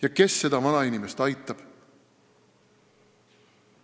Ja kes seda vanainimest aitab?